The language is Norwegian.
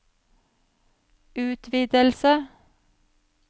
utvidelse